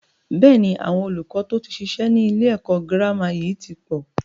Bẹ́ẹ̀ni, àwọn olùkọ́ to tí ṣiṣẹ́ ni ilé ẹ̀kọ́ gírámà yìí tí pọ̀